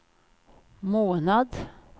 månad